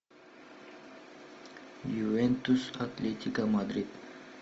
ювентус атлетика мадрид